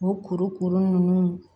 O kuru kuru nunnu